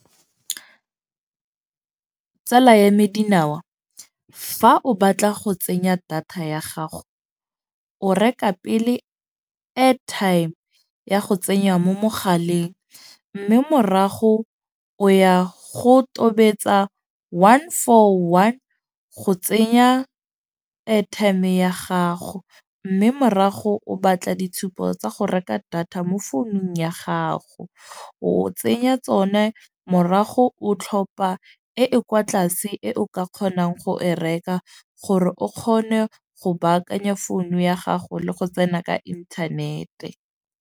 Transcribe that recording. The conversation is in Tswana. Tsala ya me Dinawa fa o batla go tsenya data ya gago, o reka pele airtime ya go tsenya mo mogaleng. Mme morago o ya go tobetsa one for one go tsenya airtime ya gago. Mme morago o batla ditshupo tsa go reka data mo founung ya gago. O tsenya tsone morago o tlhopha e e kwa tlase e o ka kgonang go e reka, gore o kgone go baakanya founu ya gago le go tsena ka inthanete.